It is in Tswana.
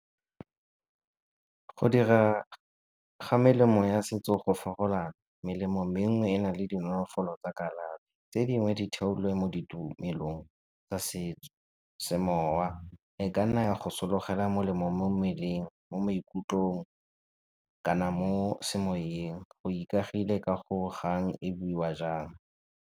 Go dira ga melemo ya setso go . Melemo menngwe e na le dinolofolo tsa kalafi, tse dingwe di theulwe mo ditumelong tsa setso, semowa e ka nna ya go sologela molemo mo mmeleng, mo maikutlong kana mo semoyeng o ikagile ka go kgang e buiwa jang.